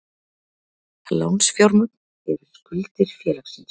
Lánsfjármagn er skuldir félagsins.